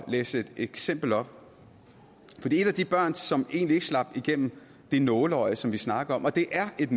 læse et eksempel op et af de børn som egentlig ikke slap igennem det nåleøje som vi snakker om og det er et